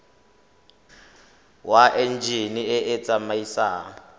wa enjine e e tsamaisang